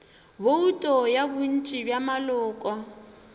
bouto ya bontši bja maloko